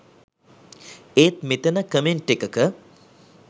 ඒත් මෙතන කමෙන්ට් එකක